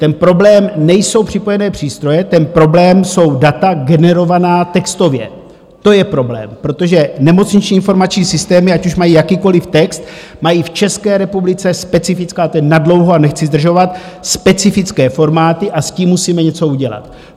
Ten problém nejsou připojené přístroje, ten problém jsou data generovaná textově, to je problém, protože nemocniční informační systémy, ať už mají jakýkoliv text, mají v České republice specifické, a to je nadlouho a nechci zdržovat, specifické formáty a s tím musíme něco udělat.